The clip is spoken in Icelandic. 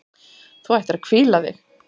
Þú ættir að hvíla þig.